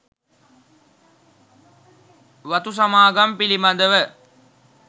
වතු සමාගම් පිළිබඳව